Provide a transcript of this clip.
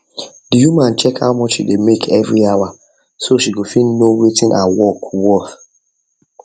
the woman check how much she dey make every hour so she go fit know wetin her work worth